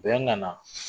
Bɛn nana